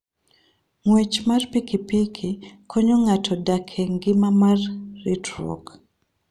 Ng'wech mar pikipiki konyo ng'ato dak e ngima mar ritruok.